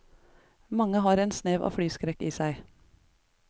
Mange har en snev av flyskrekk i seg.